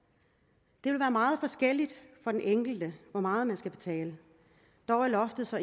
det vil være meget forskelligt for de enkelte hvor meget man skal betale dog er loftet så